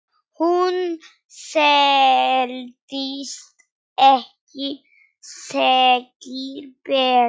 Hún seldist ekki, segir Pétur.